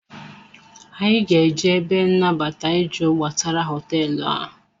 Anyị ga-eje ebe nabata ịjụ gbasara hoteelu a